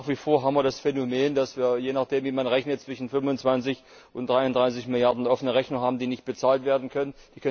Nach wie vor haben wir das Phänomen, dass wir, je nachdem, wie man rechnet, zwischen 25 und 33 Milliarden offene Rechnungen haben, die nicht bezahlt werden können.